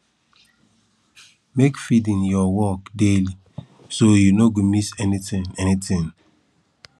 make feeding your work daily so you no go miss anything anything